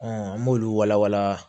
an b'olu walawala